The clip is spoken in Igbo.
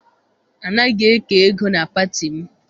Anaghị eke ego na pati m.